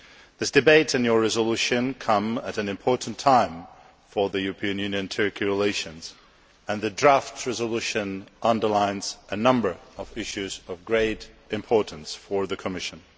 This debate and your resolution come at an important time for EU Turkey relations, and the draft resolution underlines a number of issues of great importance for the Commission.